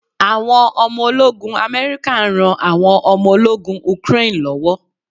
Àwọn ọmọ ológun America n ran àwọn omo ológun Ukraine lọ́wọ́